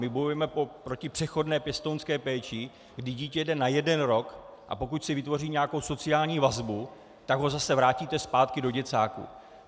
My bojujeme proti přechodné pěstounské péči, kdy dítě jde na jeden rok, a pokud si vytvoří nějakou sociální vazbu, tak ho zase vrátíte zpátky do děcáku.